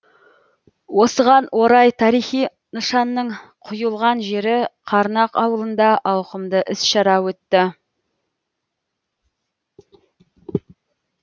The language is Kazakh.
осыған орай тарихи нышанның құйылған жері қарнақ ауылында ауқымды іс шара өтті